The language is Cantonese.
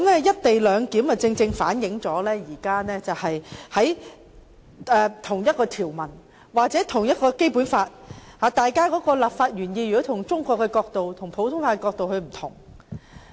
"一地兩檢"安排正好反映了就同一條文或《基本法》同一立法原意，中國法和普通法的詮釋角度也有不同之處。